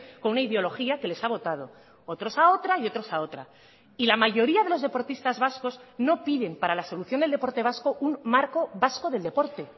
con una ideología que les ha votado otros a otra y otros a otra y la mayoría de los deportistas vascos no piden para la solución del deporte vasco un marco vasco del deporte